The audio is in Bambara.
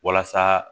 Walasa